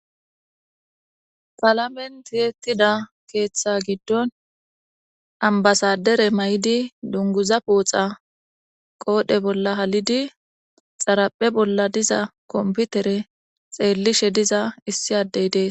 ''Qalamen Ti'etida keetha gidon,Ambasaadere mayidi, dunguza pooxa qoodhe bolla halidi xaraphe bolla diza Kompitere xeelishe diza issi addey dees.''